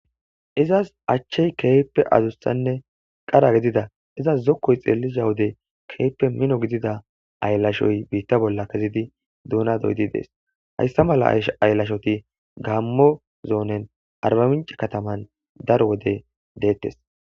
Izas achchey keyppe azussanne qara gidida izas zokkoy xeellisa wode keepe mino gidida ayllashoy biitta bolla kezidi duuna doydi dees hayssa mala ash ayllashoti gammo zoonen arbamince kataman dar wode deettes.